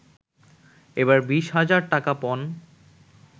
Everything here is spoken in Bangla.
এবার বিশ হাজার টাকা পণ